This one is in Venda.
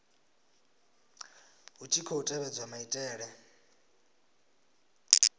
hu tshi khou tevhedzwa maitele